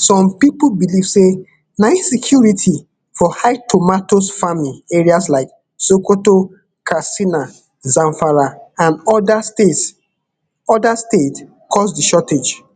some pipo believe say na insecurity for high tomatoes farming areas like sokoto katsina zamfara and oda states oda states cause di shortage